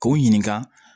K'u ɲininka